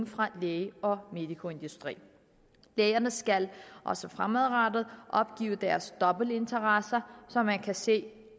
fra lægemiddel og medicoindustri lægerne skal også fremadrettet opgive deres dobbeltinteresser så man kan se